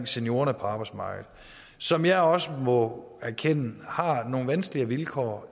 seniorerne på arbejdsmarkedet som jeg også må erkende har nogle vanskeligere vilkår